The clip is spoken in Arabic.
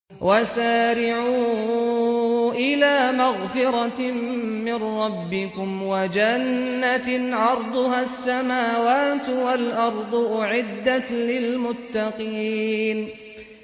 ۞ وَسَارِعُوا إِلَىٰ مَغْفِرَةٍ مِّن رَّبِّكُمْ وَجَنَّةٍ عَرْضُهَا السَّمَاوَاتُ وَالْأَرْضُ أُعِدَّتْ لِلْمُتَّقِينَ